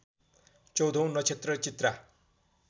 चौधौँ नक्षत्र चित्रा